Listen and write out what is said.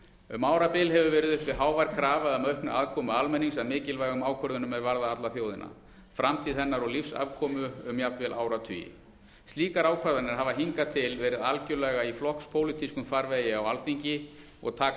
um árabil hefur verið uppi hávær krafa um aukna aðkomu almennings að mikilvægum ákvörðunum er varða alla þjóðina framtíð hennar og lífsafkomu um jafnvel áratugi slíkar ákvarðanir hafa hingað til verið algjörlega í flokkspólitískum farvegi á alþingi og taka